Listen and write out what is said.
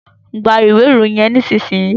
Gbà iwe Ìròyìn yén nísìsiyìí!